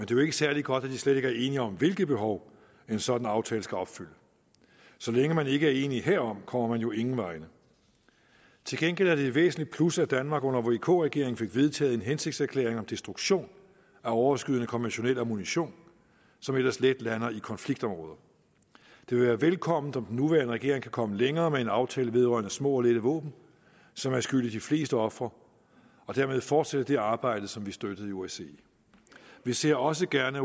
jo ikke særlig godt at de slet ikke er enige om hvilke behov en sådan aftale skal opfylde så længe man ikke er enige herom kommer man jo ingen vegne til gengæld er det et væsentligt plus at danmark under vk regeringen fik vedtaget en hensigtserklæring om destruktion af overskydende konventionel ammunition som ellers let lander i konfliktområder det vil være velkomment om den nuværende regering kan komme længere med en aftale vedrørende små og lette våben som er skyld i de fleste ofre og dermed fortsætte det arbejde som vi støttede i osce vi ser også gerne at